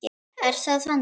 Er það þannig?